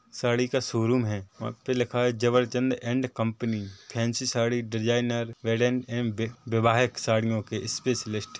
साड़ी का शोरूम है और उसपे लिखा है Jabarjand and company fancy sari designer वैवाहिक साड़ी के स्पेशलिस्ट --